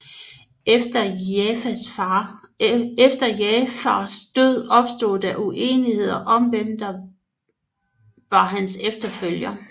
Efter Jaʿfars død opstod der uenigheder om hvem der var hans efterfølger